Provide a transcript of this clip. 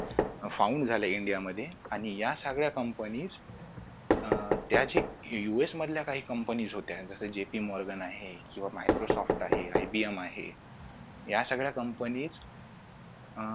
found झाल्या India मध्ये आणि या सगळ्या Company अं त्या जे US मधल्या काही Company होत्या Japin Organ आहे किंवा Microsoft आहे IBM आहे या सगळ्या Company अं